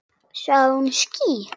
Sagði hún ský?